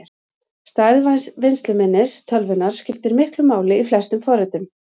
Stærð vinnsluminnis tölvunnar skiptir miklu máli í flestum forritum.